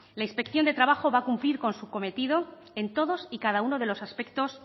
la inspección de trabajo va a cumplir con su cometido en todos y cada uno de los aspectos